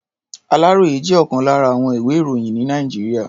Àláròyé jẹ́ ọ̀kan lára àwọn ìwé-ìròyìn ní Nàìjíríà.